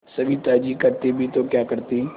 सविता जी करती भी तो क्या करती